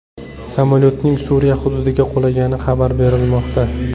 Samolyotning Suriya hududiga qulagani xabar berilmoqda.